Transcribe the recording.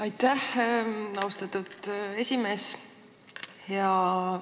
Aitäh, austatud esimees!